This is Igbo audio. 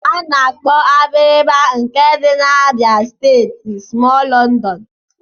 Ana-akpọ Abiriba nke dị n'Abịa steeti smọọl London